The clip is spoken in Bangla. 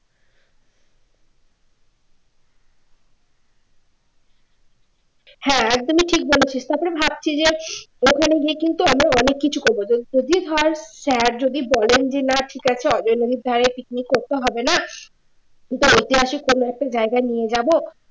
হ্যাঁ একদমই ঠিক বলেছিস তারপরে ভাবছি যে তো আমরা অনেক কিছু করব যদি ধর স্যার যদি বলেন যে না ঠিকাছে নদীর ধারে picnic করতে হবে না ঐতিহাসিক কোন একটা জায়গায় নিয়ে যাব